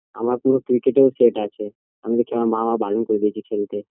আমার পুরো ক্রিকেটের set আছে আমার মা বারন করে দিয়েছে খেলতে